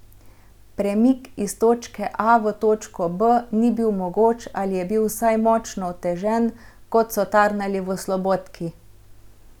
Premik iz točke A v točko B ni bil mogoč ali je bil vsaj močno otežen, kot so tarnali v Slobodki.